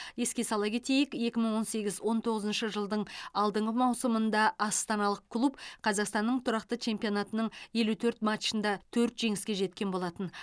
еске сала кетейік екі мың он сегіз он тоғызыншы жылдың алдыңғы маусымында астаналық клуб қазақстанның тұрақты чемпионатының елу төрт матчында төрт жеңіске жеткен болатын